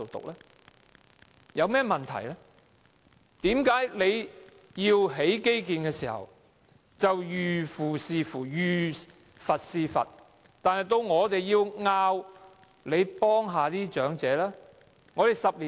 為甚麼政府興建基建時，就"遇父弑父，遇佛弑佛"，但卻無視我們提出照顧長者的要求？